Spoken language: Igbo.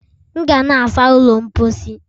M ga na-asa ụlọ mposi